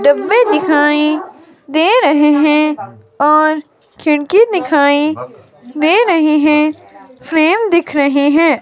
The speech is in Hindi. डिब्बे दिखाई दे रहे हैं और खिड़की दिखाई दे रही है। फ्रेम दिख रहे हैं।